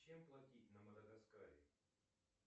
чем платить на мадагаскаре